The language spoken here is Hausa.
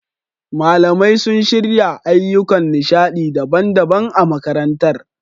Malamai sun shirya ayyukan nishaɗi daban-daban a makarantar.